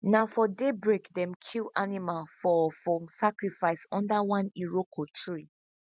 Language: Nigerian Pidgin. na for daybreak them kill animal for for sacrifice under one iroko tree